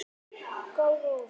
Hefur sjaldan þorað það.